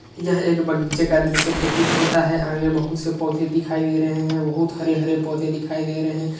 यह एक बगीचे का दृष्य प्रतीत होता है आगे बोहोत से पौधे दिखाई दे रहे हैं बोहोत हरे हरे पौधे दिखाई दे रहे हैं।